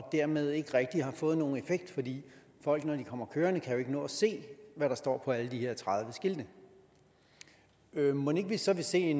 dermed ikke rigtig har fået nogen effekt fordi folk når de kommer kørende kan nå at se hvad der står på alle de her tredive skilte mon ikke vi så vil se